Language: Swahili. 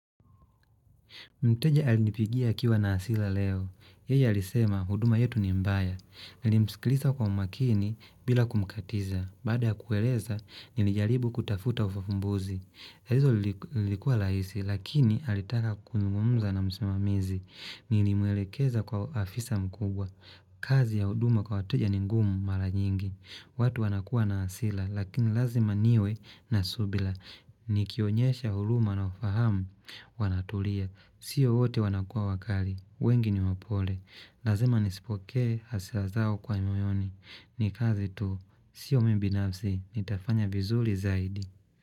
Mteja alinipigia akiwa na asila leo. Yeye alisema, huduma yetu ni mbaya. Nilimskilisa kwa umakini bila kumkatiza. Baada ya kueleza, nilijaribu kutafuta ufafumbuzi. Hizo lilikuwa laisi, lakini alitaka kuzungumza na msimamizi. Nilimwelekeza kwa afisa mkubwa. Kazi ya huduma kwa wateja ni ngumu mara nyingi. Watu wanakuwa na asila, lakini lazima niwe na subila. Nikionyesha huluma na ufahamu wanatulia. Sio hote wanakua wakali, wengi ni wapole. Lazima nisipokee, hasilazao kwa moyoni. Nikaze tu, sio mi binafzi, nitafanya vizuli zaidi.